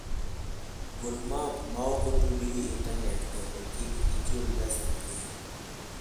Gol map ma ok otud gi intanet mondo kik ichul pesa mang'eny.